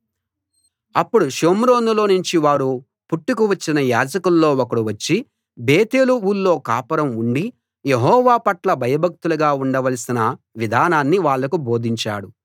అప్పుడు షోమ్రోనులోనుంచి వారు పట్టుకు వచ్చిన యాజకుల్లో ఒకడు వచ్చి బేతేలు ఊళ్ళో కాపురం ఉండి యెహోవా పట్ల భయభక్తులుగా ఉండవలసిన విధానాన్ని వాళ్లకు బోధించాడు